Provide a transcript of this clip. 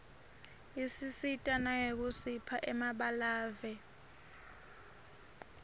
isisita nangekusipha emabalave